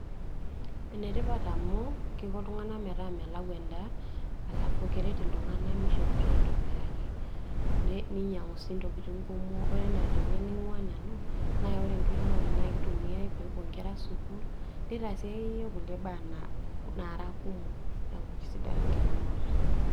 Ene tipat amu kiko iltung'anak metaa melau endaa halafu kiko iltung'anak keret iltung'anak mishopoto aitobiraki ninyang'u sii ntokiting' kumok ore ewueji naing'ua nanu wore enkiremore nakitumai pepuo nkera sukul nitasi akeyie nkulie tokiting' kumok